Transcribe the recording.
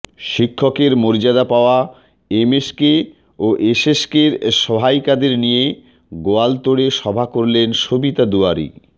শিক্ষকের মর্যাদা পাওয়া এমএসকে ও এসএসকের সহায়িকাদের নিয়ে গোয়ালতোড়ে সভা করলেন সবিতা দুয়ারী